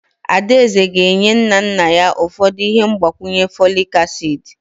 Adaeze ga-enye nna nna ya ụfọdụ ihe mgbakwunye folic acid.